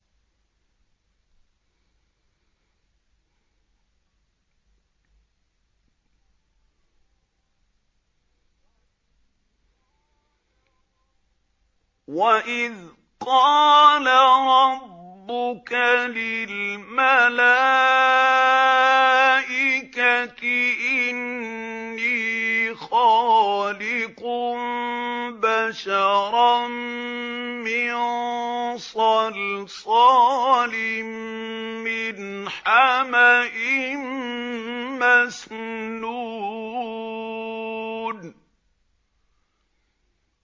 وَإِذْ قَالَ رَبُّكَ لِلْمَلَائِكَةِ إِنِّي خَالِقٌ بَشَرًا مِّن صَلْصَالٍ مِّنْ حَمَإٍ مَّسْنُونٍ